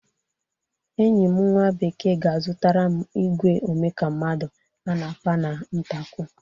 Enyi m nwa bekee ga-azụtara m igwe ome ka mmadụ a na-apa n'ụtakwụ